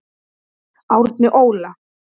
Árni Óla.